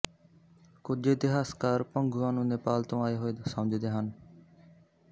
ਕੁਝ ਇਤਿਹਾਸਕਾਰ ਭੰਗੂਆਂ ਨੂੰ ਨੇਪਾਲ ਤੋਂ ਆਏ ਹੋਏ ਸਮਝਦੇ ਹਨ